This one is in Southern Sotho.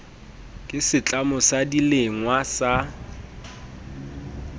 ke setlamo sa dilengwa sa